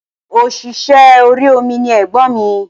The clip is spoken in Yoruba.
Òṣìṣẹ́ orí omi ni ègbọ́n mi